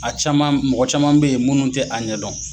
A caman mɔgɔ caman bɛ ye munnu tɛ a ɲɛ dɔn.